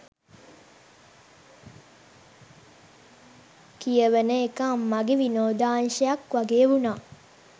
කියවන එක අම්මගෙ විනෝදාංශයක් වගේ වුණා